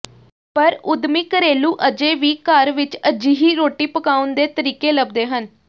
ਪਰ ਉਦਮੀ ਘਰੇਲੂ ਅਜੇ ਵੀ ਘਰ ਵਿਚ ਅਜਿਹੀ ਰੋਟੀ ਪਕਾਉਣ ਦੇ ਤਰੀਕੇ ਲੱਭਦੇ ਹਨ